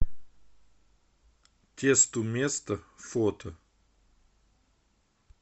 тесту место фото